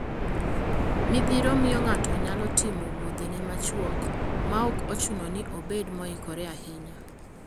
Midhiro miyo ng'ato nyalo timo wuodhene machuok maok ochuno ni obed moikore ahinya.